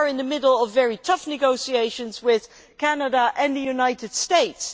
We are in the middle of very tough negotiations with Canada and the United States.